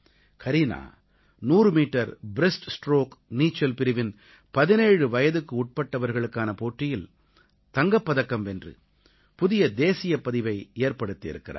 Kareena 100 metre breaststroke நீச்சல் பிரிவின் 17 வயதுக்குட்பட்டவர்களுக்கான போட்டியில் தங்கப் பதக்கம் வென்று புதிய தேசியப்பதிவை ஏற்படுத்தி இருக்கிறார்